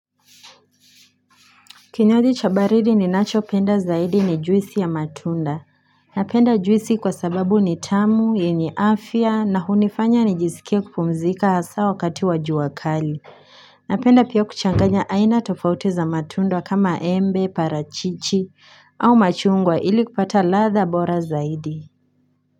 Kinywaji cha baridi ninachopenda zaidi ni juisi ya matunda. Napenda juisi kwa sababu ni tamu, yenye afya na hunifanya nijisikie kupumzika hasa wakati wa jua kali. Napenda pia kuchanganya aina tofauti za matunda kama Embe, parachichi au machungwa ili kupata ladha bora zaidi.